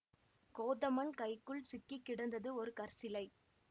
கோதமன் கைக்குள் சிக்கி கிடந்தது ஒரு கற்சிலை